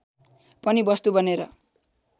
पनि वस्तु बनेर